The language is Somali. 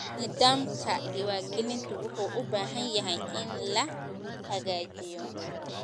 Nidaamka diiwaangelinta wuxuu u baahan yahay in la hagaajiyo.